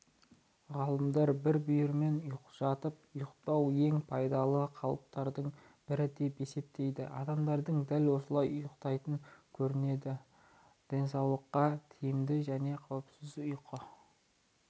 ғалымдар бір бүйірмен жатып ұйықтау ең пайдалы қалыптардың бірі деп есептейді адамдардың дәл осылай ұйықтайтын көрінеді денсаулыққа тиімді және қауіпсіз ұйқы